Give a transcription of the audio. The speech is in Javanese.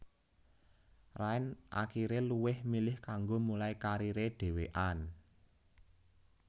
Rain akiré luwih milih kanggo mulai kariré dhewekan